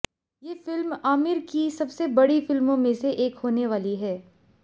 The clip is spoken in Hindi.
ये फिल्म आमिर की सबसे बड़ी फिल्मों में से एक होने वाली है